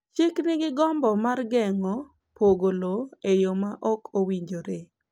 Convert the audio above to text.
Chik nigi gombo mar geng’o pogo lowo e yo ma ok owinjore.